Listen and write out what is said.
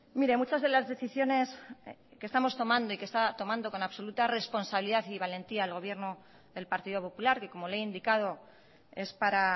mire muchas de las decisiones que estamos tomando y que se está tomando con absoluta responsabilidad y valentía el gobierno del partido popular y como le he indicado es para